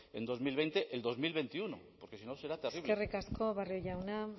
en dos mil veinte el dos mil veintiuno porque si no será terrible eskerrik asko barrio jauna